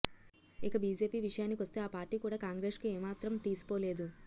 ఇక బీజేపీ విషయానికొస్తే ఆ పార్టీ కూడా కాంగ్రెస్కు ఏమాత్రం తీసిపోలేదు